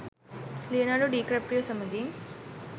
Leonardo DiCaprio සමගින්